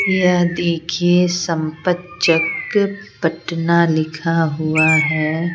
यह देखिए संपत-चक पटना लिखा हुआ है।